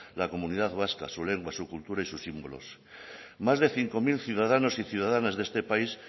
la comunidad vasca su lengua su cultura y sus símbolos más de cinco mil ciudadanos y ciudadanas de este país